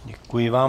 Děkuji vám.